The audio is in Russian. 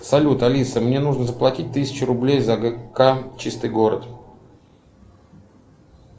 салют алиса мне нужно заплатить тысячу рублей за гк чистый город